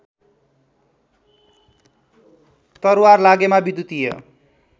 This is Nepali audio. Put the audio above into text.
तरवार लागेमा विद्युतीय